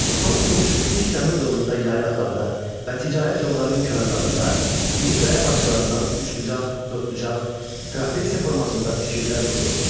Son Tunç, ilk Dəmir dövründə yaylaqlarda və ticarət yollarının kənarlarında iri qaya parçalarından üçbucaq, dördbucaq, trapesiya formasında tikillər qurulurdu.